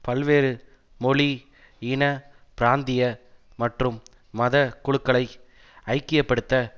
பல்வேறு மொழி இன பிராந்திய மற்றும் மத குழுக்களை ஐக்கிய படுத்த